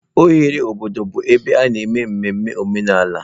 Oghere obodo bụ ebe a na-eme mmemme omenala.